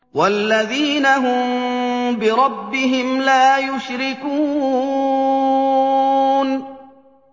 وَالَّذِينَ هُم بِرَبِّهِمْ لَا يُشْرِكُونَ